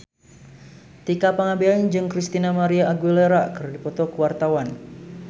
Tika Pangabean jeung Christina María Aguilera keur dipoto ku wartawan